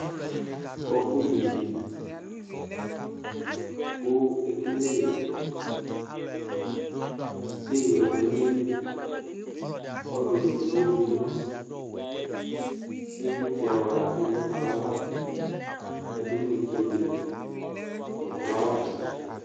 Ƙɔpʋ nƴuaivi ƙʋ eƙele te ƴɔ ɖʋ n' aƴili ƙʋ ɔlʋlʋ eɖigbo ƙenƴuǝƖvlɩtsɛ ɔɣa bɩ ɖʋ ɛƙplɔɛava, ƴǝɖu n' itseɖe nʋ ƒlawa nɩ